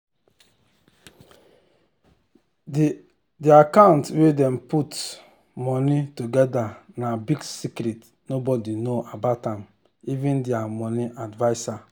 dir account wey dem put money togedr na big secret nobody know about am even dir money adviser